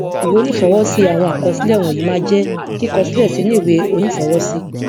ìwé onífọwọsí àwọn àkọsílẹ wọnyìí máa jẹ kíkọ sílẹ sínú ìwé onífọwọsí